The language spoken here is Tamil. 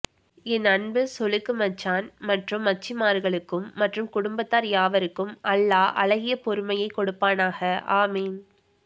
என் அன்பு சொளுக்கு மச்சான் மற்றும் மச்சிமார்களுக்கும் மற்றும் குடும்பத்தார் யாவருக்கும் அல்லாஹ் அழகிய பொறுமையை கொடுப்பானாக ஆமீன்